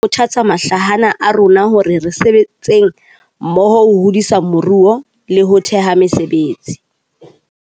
Sena se tlameha ho kgothatsa mahlahana a rona hore re sebetseng mmoho ho hodisa moruo le ho theha mesebetsi.